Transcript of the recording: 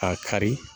A kari